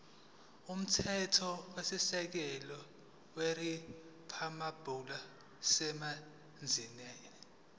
umthethosisekelo weriphabhulikhi yaseningizimu